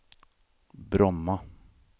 Bromma